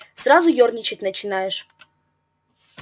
сразу ёрничать начинаешь